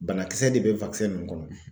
Banakisɛ de be nun kɔnɔ